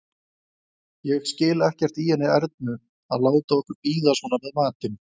Ég skil ekkert í henni Ernu að láta okkur bíða svona með matinn!